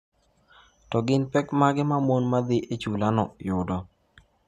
To gin pek mage ma mon ma dhi e chulano yudo?